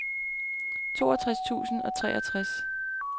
toogtres tusind og treogtres